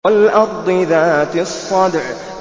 وَالْأَرْضِ ذَاتِ الصَّدْعِ